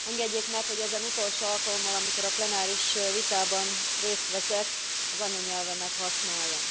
Engedjék meg, hogy ezen utolsó alkalommal, amikor a plenáris vitában részt veszek, az anyanyelvemet használjam.